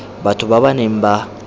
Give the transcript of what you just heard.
batho ba ba neng ba